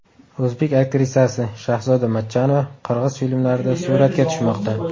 O‘zbek aktrisasi Shahzoda Matchonova qirg‘iz filmlarida suratga tushmoqda.